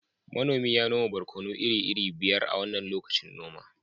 manomi ya noma barkono iri-iri biyar a wannan lokacin noma